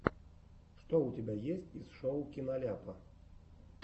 что у тебя есть из шоу киноляпа